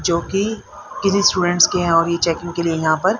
जो की इन्हीं स्टूडेंट्स के और रिचेकिंग के लिए यहां पर--